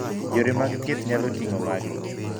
Yore mag thieth nyalo ting'o magi.